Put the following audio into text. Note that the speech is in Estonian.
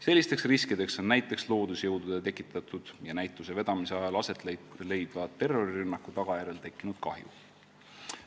Sellisteks riskideks on näiteks loodusjõudude tekitatud ja näituse vedamise ajal aset leidva terrorirünnaku tagajärjel tekkinud kahju.